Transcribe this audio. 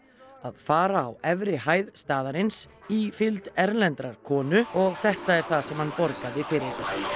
að fara á efri hæð staðarins í fylgd erlendrar konu og þetta er það sem hann borgaði fyrir